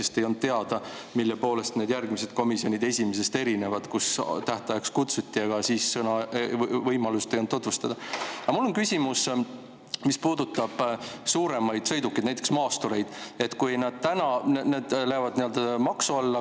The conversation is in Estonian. Ka ei olnud teada, mille poolest need järgmised komisjoni istungid erinevad esimesest, kuhu teatud ajaks kutsuti, aga siis sõna ei antud, võimalust tutvustada ei olnud Aga mul on küsimus, mis puudutab suuremaid sõidukeid, näiteks maastureid, kui need lähevad maksu alla.